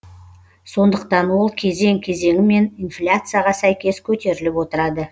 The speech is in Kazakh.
сондықтан ол кезең кезеңімен инфляцияға сәйкес көтеріліп отырады